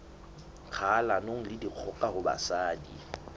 kgahlanong le dikgoka ho basadi